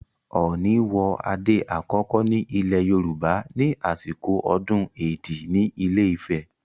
Ọọ̀ni wọ adé àkọ́kọ́ ní ilẹ̀ Yorùbá ní àsìkò ọdún Èdí ní Ilé-Ifẹ̀.